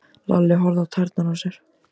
Lalli horfði á tærnar á sér.